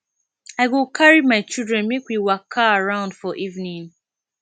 i go carry my children make we waka around for evening